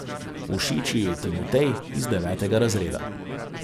Všeč ji je Timotej iz devetega razreda.